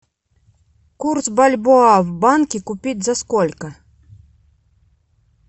курс бальбоа в банке купить за сколько